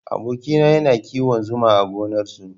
Aboki na yana kiwon zuma a gonar su